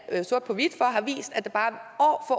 sort på hvidt for har vist at der